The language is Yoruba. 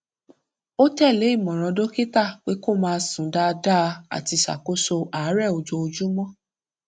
ó tẹlé ìmòràn dókítà pé kó máa sùn dáadáa àti ṣàkóso àárẹ ojoojúmọ